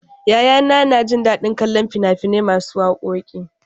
Yayana na jin daɗin kallon fina-finai masu wakoki.